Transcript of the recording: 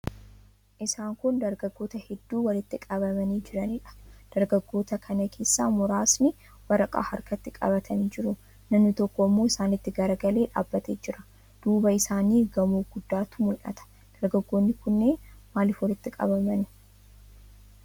Isaan kun dargaggoota hedduu walitti qabamanii jiraniidha. Dargaggoota kana keessaa muraasni waraqaa harkatti qabatanii jiru. Namni tokko immoo isaanitti garagalee dhaabbatee jira. Duuba isaaniin gamoo guddaatu mul'ata. Dargaggoonni kunneen maaliif walitti qabamani?